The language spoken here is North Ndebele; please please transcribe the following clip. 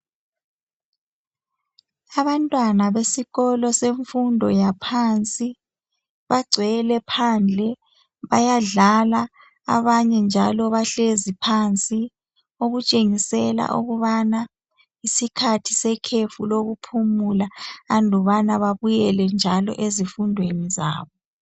Abantwana besikolo semfundo yaphansi bagcwele phandle, bayadlala, abanye njalo bahlezi phansi, okutshengisela ukubana isikhathi sekhefu lokuphumula andubana babuyele njalo ezifundweni zabo.